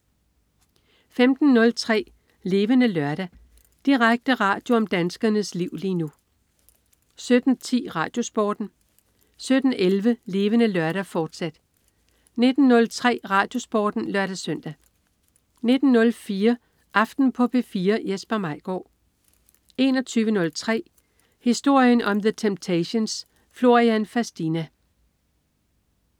15.03 Levende Lørdag. Direkte radio om danskernes liv lige nu 17.10 RadioSporten 17.11 Levende Lørdag, fortsat 19.03 RadioSporten (lør-søn) 19.04 Aften på P4. Jesper Maigaard 21.03 Historien om The Temptations. Florian Fastina